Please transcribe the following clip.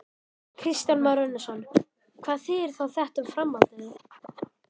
Kristján Már Unnarsson: Hvað þýðir þá þetta um framhaldið?